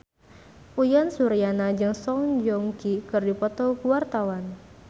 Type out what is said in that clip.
Uyan Suryana jeung Song Joong Ki keur dipoto ku wartawan